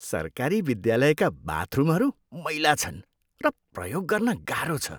सरकारी विद्यालयका बाथरुमहरू मैला छन् र प्रयोग गर्न गाह्रो छ।